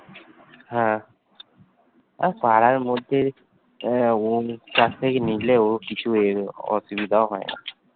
হ্যাঁ! ঐ পাড়ার মধ্যে চার টা কে নিলেও অসুবিধা হয়ে না হম